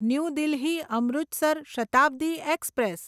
new Delhi Amritsar Shatabdi express